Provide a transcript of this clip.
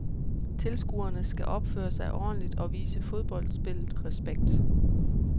Tilskuerne skal opføre sig ordentligt og vise fodboldspillet respekt.